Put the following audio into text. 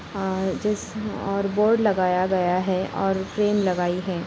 और जिस ह और बोर्ड लगाया गया है और पिन लगायी है ।